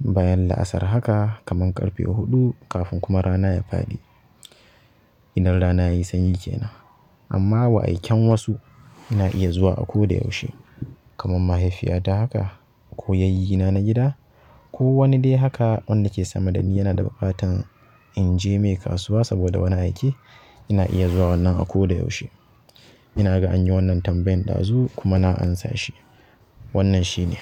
bayan la'asar haka kaman ƙarfe huɗu kafin kuma rana ya faɗi. Idan rana yayi sanyi ke nan. Amma wa'aikan wasu ina iya zuwa a ko da yaushe. Kaman mahaifiyata haka ko yayyina na gida ko wani dai haka wanda ke sama dani yana da buƙatan in je mai kasuwa saboda wani aike, ina iya zuwa wannan a ko da yaushe. Ina ga anyi wannan tambayan ɗazu kuma na amsa shi. Wannan shi ne.